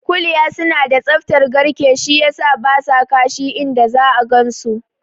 Kuliya suna da tsaftar garke, shi yasa basa kashi inda za'a gansu su